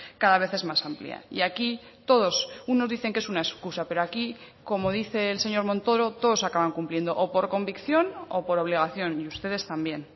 cada vez es más amplia y aquí todos unos dicen que es una excusa pero aquí como dice el señor montoro todos acaban cumpliendo o por convicción o por obligación y ustedes también